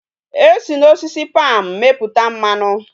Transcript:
E si na osisi palm meputa mmanu